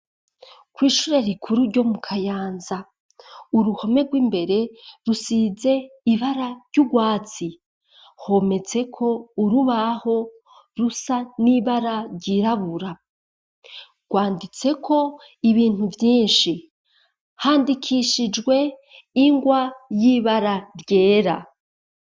Kw'ishure rikuru ryo mu kayanza uruhome rw'imbere rusize ibara ry'ubwatsi hometse ko urubaho rusa n'ibara ryirabura. Rwanditse ko ibintu byinshi handikishijwe ingwa y'ibara ryera.